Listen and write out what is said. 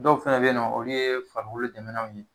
Dɔw fɛnɛ bɛ yen nɔ olu ye farikolo dɛmɛnanw ye